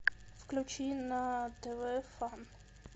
включи на тв фан